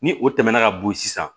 Ni o tɛmɛna ka bo ye sisan